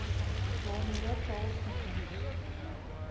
waarmee charles dickens